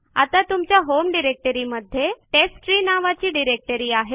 आता तुमच्या होम डिरेक्टरीमध्ये टेस्टट्री नावाची डिरेक्टरी आहे